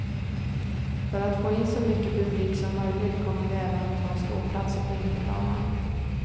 För att få in så mycket publik som möjligt kommer vi även att ha ståplatser på innerplanen.